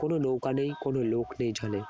কোনো নৌকা নেই কোন লোক নেই জলে